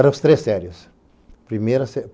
Eram as três séries. Primeira